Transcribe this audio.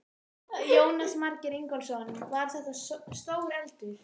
Jónas Margeir Ingólfsson: Var þetta stór eldur?